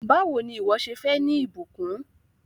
Báwò ni ìwọ́ ṣe fẹ́ ní ìbùkún?